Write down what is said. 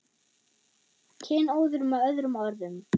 Kynóður með öðrum orðum.